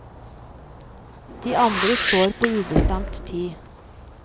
De andre står på ubestemt tid.